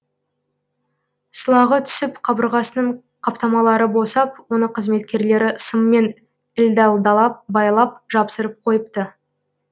сылағы түсіп қабырғасының қаптамалары босап оны қызметкерлері сыммен ілдәлдалап байлап жапсырып қойыпты